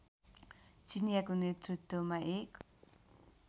चिनियाँको नेतृत्वमा एक